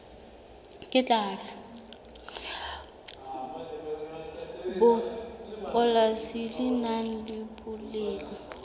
polasi le nang le boleng